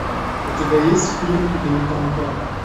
у тебя есть фильм бельканто